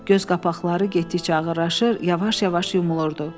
Göz qapaqları getdikcə ağırlaşır, yavaş-yavaş yumulurdu.